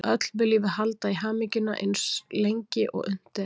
Öll viljum við halda í hamingjuna eins lengi og unnt er.